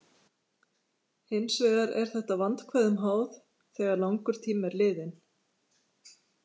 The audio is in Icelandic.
Hins vegar er þetta vandkvæðum háð þegar langur tími er liðinn.